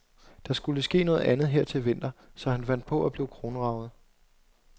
Der skulle ske noget andet her til vinter, så han fandt på at blive kronraget.